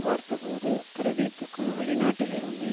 பார்த்தபோது பிரதீப்புக்கு வெளிநாட்டிலிருந்து